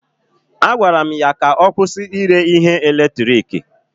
A gwara m ya ka ọ kwụsị ire ihe eletiriki.